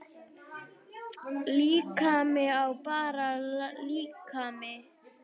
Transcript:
Líkami er bara líkami.